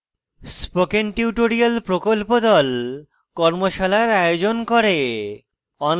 spoken tutorial প্রকল্প the কর্মশালার আয়োজন করে